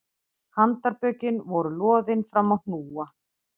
Handarbökin voru loðin fram á hnúa